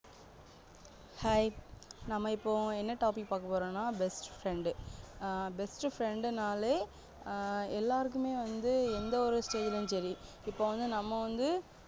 Hi நம்ம இப்போ என்ன best friend பாக்க போறோம்னா best டு friend னாலே ஆஹ் எல்லாருக்குமே வந்து எந்த ஒரு செயலும் தெரியும் இப்ப நம்ம வந்து